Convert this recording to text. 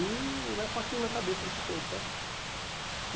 E né com aquilo na cabeça o dia todo, sabe?